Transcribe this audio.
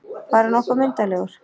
Bara nokkuð myndarlegur.